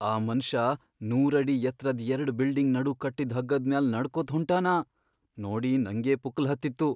ಆ ಮನಷಾ ನೂರಡಿ ಎತ್ರದ್ ಎರ್ಡ್ ಬಿಲ್ಡಿಂಗ್ ನಡು ಕಟ್ಟಿದ್ ಹಗ್ಗದ್ ಮ್ಯಾಲ್ ನಡಕೊತ್ ಹೊಂಟಾನ.. ನೋಡಿ ನಂಗೇ ಪುಕ್ಕಲ್ಹತ್ತಿತ್ತು.